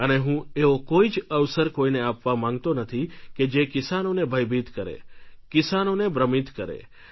અને હું એવો કોઈ જ અવસર કોઈને આપવા માંગતો નથી કે જે કિસાનોને ભયભીત કરે કિસાનોને ભ્રમિત કરે